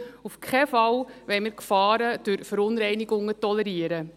Auf keinen Fall wollen wir Gefahren durch Verunreinigung tolerieren.